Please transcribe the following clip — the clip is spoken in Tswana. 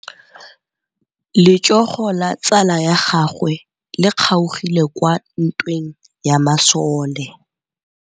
Letsôgô la tsala ya gagwe le kgaogile kwa ntweng ya masole.